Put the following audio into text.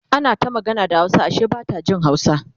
ana ta magana da hausa Ashe Bata Jin hausa